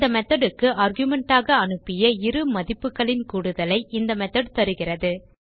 இந்த methodக்கு ஆர்குமென்ட் ஆக அனுப்பிய இரு மதிப்புகளின் கூடுதலை இந்த மெத்தோட் தருகிறது